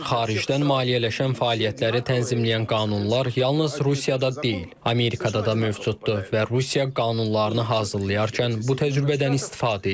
Xaricdən maliyyələşən fəaliyyətləri tənzimləyən qanunlar yalnız Rusiyada deyil, Amerikada da mövcuddur və Rusiya qanunlarını hazırlayarkən bu təcrübədən istifadə edib.